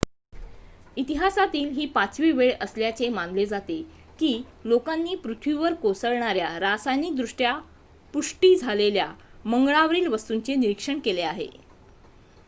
इतिहासातील ही पाचवी वेळ असल्याचे मानले जाते की लोकांनी पृथ्वीवर कोसळणार्‍या रासायनिकदृष्ट्या पुष्टी झालेल्या मंगळावरील वस्तूंचे निरीक्षण केले आहे